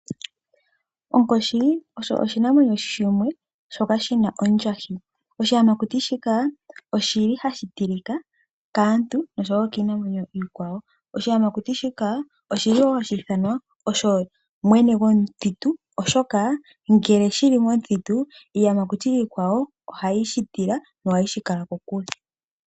Onkoshi osho oshinamwenyo shimwe shoka shina ondjahi. Oshiyamakuti shika oshili hashi tilika kaantu osho woo kiinamwenyo iikwawo. Oshiyamakuti shika oshili woo hashi i thanwa osho mwene gomuthutu oshoka ngele shili momuthitu iiyamakuti iikwawo ohaye shi tila nohaye shikala kokule.